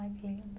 Ai, que lindo.